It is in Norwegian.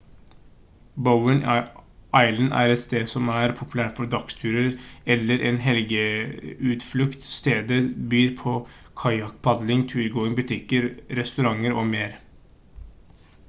bowen island er et sted som er populært for dagsturer eller en helgeutflukt stedet byr på kajakkpadling turgåing butikker restauranter og mer